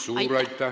Suur aitäh!